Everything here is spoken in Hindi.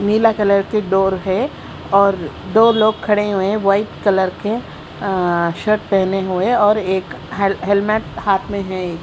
नीला कलर के डोर है और दो लोग खडे हुए है वाइट कलर के अअ शर्ट पहने हुए और एक हेल हेलमेट हाथ में है।